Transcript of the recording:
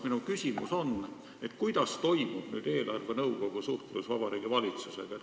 Minu küsimus on, kuidas toimub nüüd eelarvenõukogu suhtlus Vabariigi Valitsusega.